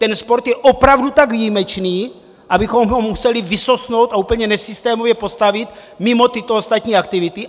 Ten sport je opravdu tak výjimečný, abychom ho museli vysosnout a úplně nesystémově postavit mimo tyto ostatní aktivity?